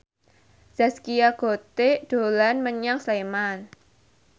Zaskia Gotik dolan menyang Sleman